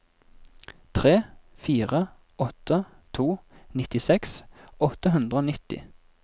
tre fire åtte to nittiseks åtte hundre og nitti